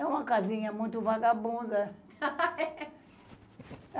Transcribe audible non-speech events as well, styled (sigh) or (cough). É uma casinha muito vagabunda. (laughs)